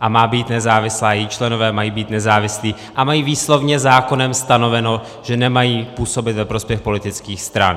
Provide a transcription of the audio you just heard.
a má být nezávislá, její členové mají být nezávislí a mají výslovně zákonem stanoveno, že nemají působit ve prospěch politických stran.